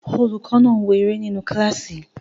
Olùkọ́ náà ń wo eré nínu kílásì